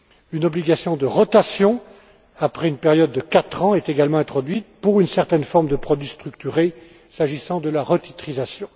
Une obligation de rotation après une période de quatre ans est également introduite pour une certaine forme de produits structurés, s'agissant de la retitrisation.